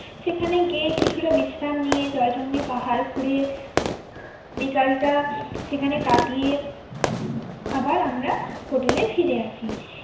সেখানে গিয়ে কিছুটা বিশ্রাম নিয়ে জয়চন্ডী পাহাড় ঘুরে বিকালটা সেখানে কাটিয়ে আবার আমরা hotel এ ফিরে আসি।